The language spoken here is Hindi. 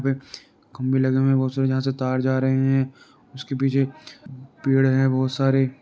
खंबे लगे हुए है बहुत सारे जहा से तार जा रहे है| उसके पीछे पेड़ है बहुत सारे।